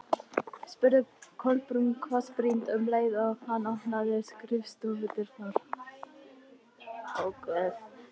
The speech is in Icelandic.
Látinn elskhugi á skilið að njóta sannmælis.